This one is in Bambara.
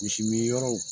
Misi min yɔrɔw